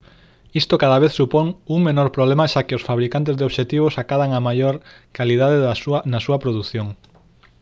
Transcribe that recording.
isto cada vez supón un menor problema xa que os fabricantes de obxectivos acadan unha maior calidade na súa produción